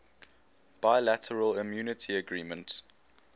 bilateral immunity agreement